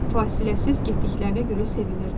Fasiləsiz getdiklərinə görə sevinirdi.